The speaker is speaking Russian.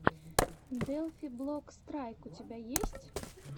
делфи блок страйк у тебя есть